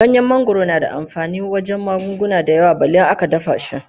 Ganyen mangwaro na da amfani wajen magunguna da yawa balle in aka dafa shi.